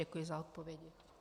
Děkuji za odpovědi.